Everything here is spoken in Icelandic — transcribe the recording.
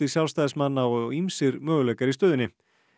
Sjálfstæðismanna og ýmsir möguleikar í stöðunni